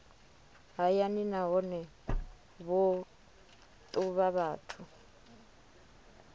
hayani nahone vho ṱuvha vhathu